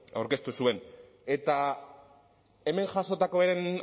aurkeztu zuen eta hemen jasotakoen